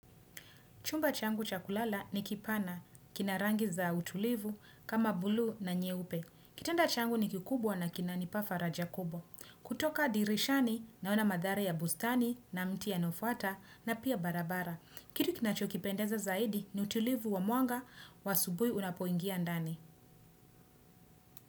Chumba changu cha kulala ni kipana, kina rangi za utulivu kama buluu na nyeupe. Kitanda changu ni kikubwa na kinanipa faraja kubwa. Kutoka dirishani naona madhara ya bustani na mti ya nofata na pia barabara. Kitu kinachokipendeza zaidi ni utulivu wa mwanga wa asubuhi unapoingia ndani.